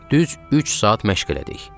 Düz üç saat məşq elədik.